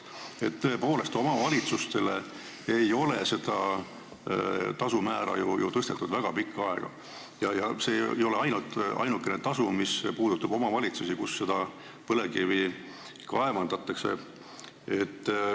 Aga tõepoolest, omavalitsustele ei ole seda tasumäära tõstetud väga pikka aega ja see ei ole ainukene tasu, mis puudutab omavalitsusi, kus põlevkivi kaevandatakse.